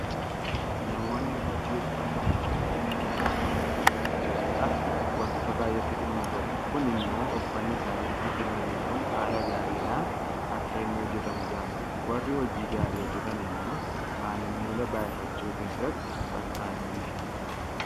Namoonni hojii uffata miiccuu hojjetan maamila isaanii gammachiisuudhaaf waantota baay'eetti dhimma bahu. Kun immoo uffanni isaanitti kenname kun haala gaariidhaan akka inni hojjetamu taasisa. Warri hojii gaarii hojjetan immoo maamila baay'ifachuu keessattk fakkaattii hinqaban